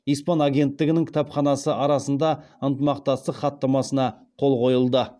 испан агенттігінің кітапханасы арасында ынтымақтастық хаттамасына қол қойылды